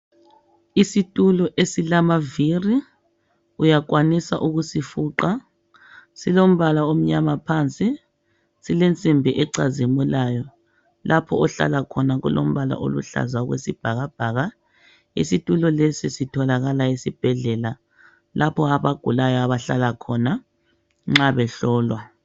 Isitulo esilama viri uyakwanisa ukusifuqa silombala omnyama phansi silensimbi ecazimulayo lapho ohlala khona kulombala oluhlaza okwesibhakabhaka, isitulo lesi sithilakala esibhedlela lapho abagulayo abahlala khona nxa behlolwa.